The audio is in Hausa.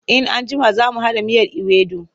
In an jima za mu haɗa miyar iwedu.